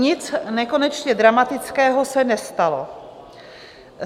Nic nekonečně dramatického se nestalo.